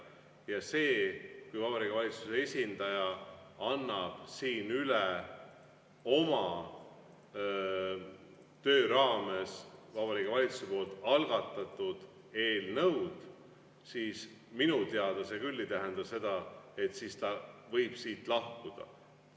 Ja see, kui Vabariigi Valitsuse esindaja annab siin üle oma töö raames Vabariigi Valitsuse algatatud eelnõud, minu teada küll ei tähenda seda, et siis ta võib siit lahkuda.